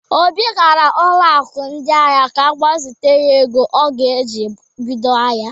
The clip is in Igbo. Obi gara ụlọ aku ndị ahịa ka ọgbazite ego ọ ga-eji bido ahịa.